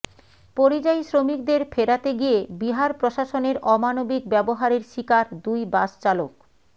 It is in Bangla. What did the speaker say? পরিযায়ী শ্রমিকদের ফেরাতে গিয়ে বিহার প্রশাসনের অমানবিক ব্যবহারের শিকার দুই বাস চালক